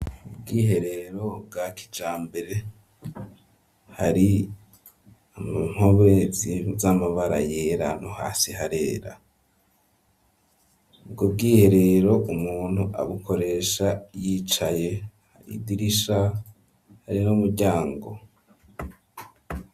Ubwiherero bwa kijambere hari mu nkobe z'amabara yera no hasi harera ubwo bwiherero umuntu abukoresha yicaye hari idirisha hari n'umuryango.